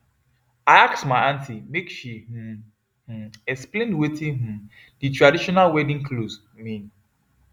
i ask my aunty make she um um explain watin um the traditional wedding clothes mean